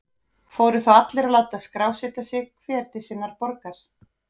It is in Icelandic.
Fóru þá allir til að láta skrásetja sig, hver til sinnar borgar.